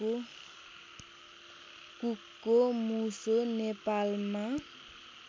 कुकको मुसो नेपालमा